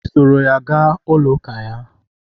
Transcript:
i soro ya ga ụlọ uka ya?